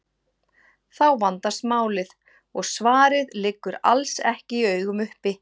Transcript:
Þá vandast málið og svarið liggur alls ekki í augum uppi.